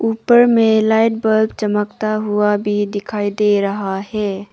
ऊपर में light bulb चमकता हुआ भी दिखाई दे रहा है।